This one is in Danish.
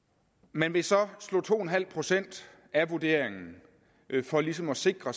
man vil så slå to procent af vurderingen for ligesom at sikre